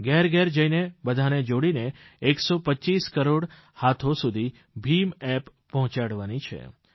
ઘેરઘેર જઇને બધાને જોડીને 125 કરોડ હાથો સુધી ભીમ એપ પહોંચાડવાની છે